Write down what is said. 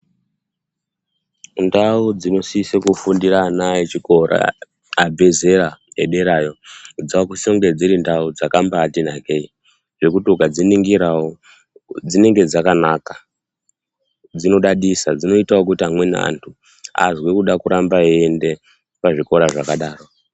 Ndau dzinosisa kufundira ana echikora abve zera, ederayo, dzavakusisa kunge dziri ndau dzakambaati nakei, zvekuti ukadziningirawo dzinenge dzakanaka, dzinodadisa, dzinoitawo kuti amwei antu azwe kuda kuramba eiyende pazvikora zvakadaro.